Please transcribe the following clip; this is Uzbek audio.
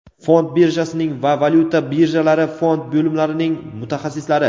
fond birjasining va valyuta birjalari fond bo‘limlarining mutaxassislari.